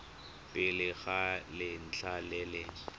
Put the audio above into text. pele ga letlha le le